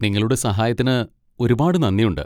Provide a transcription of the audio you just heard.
നിങ്ങളുടെ സഹായത്തിന് ഒരുപാട് നന്ദിയുണ്ട്.